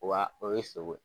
Wa o ye sogo ye.